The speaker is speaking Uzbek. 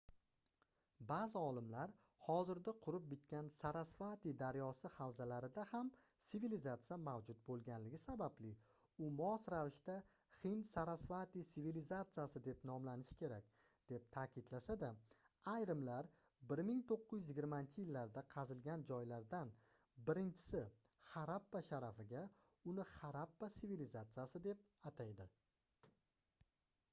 baʼzi olimlar hozirda qurib bitgan sarasvati daryosi havzalarida ham sivilizatsiya mavjud boʻlganligi sababli u mos ravishda hind-sarasvati sivilizatsiyasi deb nomlanishi kerak deb taʼkidlasa-da ayrimlar 1920-yillarda qazilgan joylardan birinchisi harappa sharafiga uni harappa sivilizatsiyasi deb ataydi